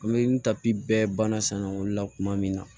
An bɛ n tapi bɛɛ banna sannɔ la kuma min na